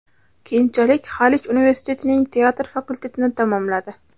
Keyinchalik Xalich universitetining teatr fakultetini tamomladi.